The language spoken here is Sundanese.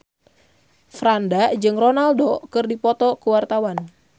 Franda jeung Ronaldo keur dipoto ku wartawan